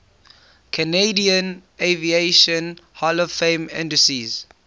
canadian aviation hall of fame inductees